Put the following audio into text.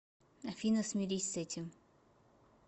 афина смирись с этим